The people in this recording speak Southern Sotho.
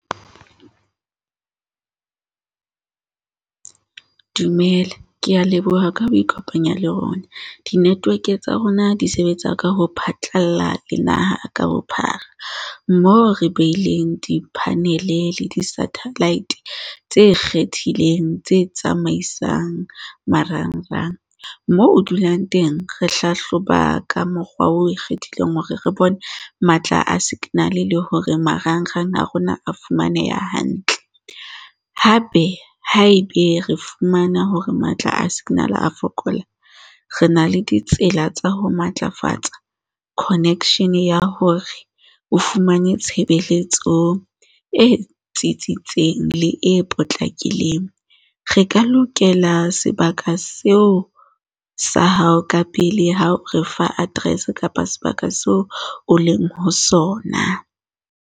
Dumela. Ke a leboha ka ho ikopanya le rona. Di-network-e tsa rona di sebetsa ka ho phatlalla le naha ka bophara, moo re beileng di-panel e le di-satellite tse ikgethileng, tse tsamaisang marangrang. Moo o dulang teng, re hlahloba ka mokgwa o kgethileng hore re bone matla a signal-e le hore marangrang a rona a fumaneha hantle. Hape haebe re fumana hore matla a signal a fokola, re na le ditsela tsa ho matlafatsa connection ya hore o fumane tshebeletso e tsitsitseng le e potlakileng. Re ka lokela sebaka seo sa hao ka pele ha o re fa address kapa sebaka seo o leng ho sona.